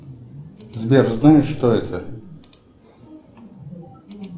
сбер знаешь что это